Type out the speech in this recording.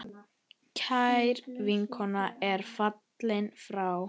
Kær vinkona er fallin frá.